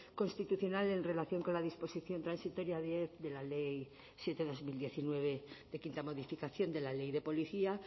constitucional en relación con la disposición transitoria de la ley siete barra dos mil diecinueve de quinta modificación de la ley de policía